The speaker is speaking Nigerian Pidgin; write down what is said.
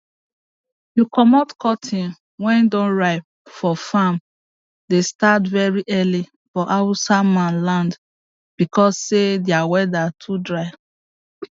to comot cotton wey don ripe for farm dey start very early for hausa man land because say their weather too dry